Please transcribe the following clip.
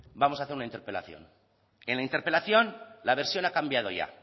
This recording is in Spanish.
vamos a hacer una interpelación en la interpelación la versión ha cambiado ya